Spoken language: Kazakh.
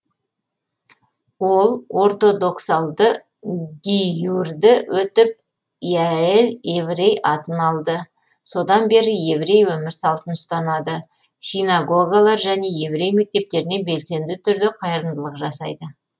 ол ортодоксалды гиюрді өтіп яэль еврей атын алды содан бері еврей өмір салтын ұстанады синагогалар және еврей мектептеріне белсенді түрде қайырымдылық жасайды